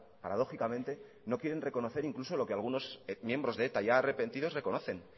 paradójicamente reconocer incluso lo que algunos miembros de eta ya arrepentidos reconocen